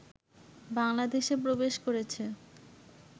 বাংলাদেশে প্রবেশ করেছে